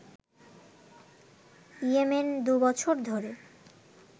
Yemen দুবছর ধরে